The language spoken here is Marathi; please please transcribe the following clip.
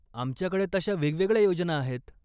आमच्याकडे तशा वेगवेगळ्या योजना आहेत.